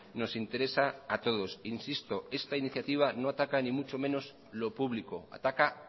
nos interesa a todos insisto esta iniciativa no ataca ni mucho menos lo público ataca